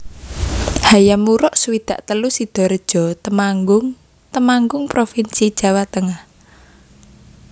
Hayam Wuruk swidak telu Sidorejo Temanggung Temanggung provinsi Jawa Tengah